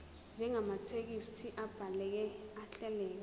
njengamathekisthi abhaleke ahleleka